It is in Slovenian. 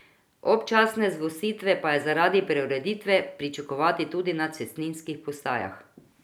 Občasne zgostitve pa je zaradi preureditve pričakovati tudi na cestninskih postajah.